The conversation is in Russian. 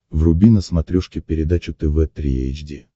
вруби на смотрешке передачу тв три эйч ди